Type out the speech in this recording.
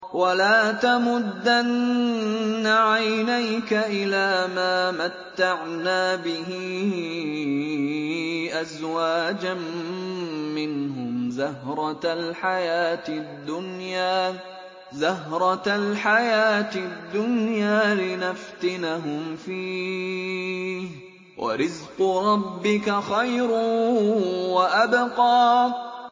وَلَا تَمُدَّنَّ عَيْنَيْكَ إِلَىٰ مَا مَتَّعْنَا بِهِ أَزْوَاجًا مِّنْهُمْ زَهْرَةَ الْحَيَاةِ الدُّنْيَا لِنَفْتِنَهُمْ فِيهِ ۚ وَرِزْقُ رَبِّكَ خَيْرٌ وَأَبْقَىٰ